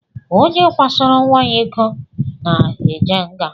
Onye kwasoro nwa ya ịkọ na-eje nga.